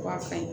Wa fɛn